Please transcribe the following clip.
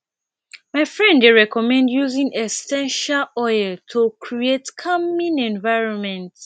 my friend dey recommend using essential oils to create calming environment